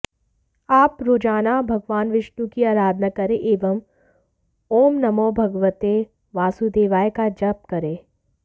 आप रोजाना भगवान विष्णु की अराधना करें एवम् ऊँ नमो भगवते वासुदेवाय का जप करें